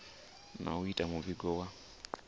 na u ita muvhigo wa